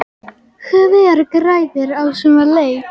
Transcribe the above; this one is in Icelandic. Hver græðir á svona leik?